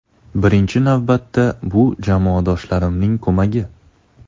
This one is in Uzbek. Birinchi navbatda bu jamoadoshlarimning ko‘magi.